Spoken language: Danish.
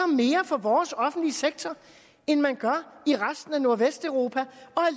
mere for vores offentlige sektor end man gør i resten af nordvesteuropa